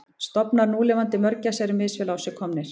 Stofnar núlifandi mörgæsa eru misvel á sig komnir.